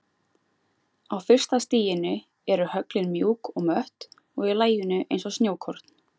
Á fyrsta stiginu eru höglin mjúk og mött og í laginu eins og snjókorn.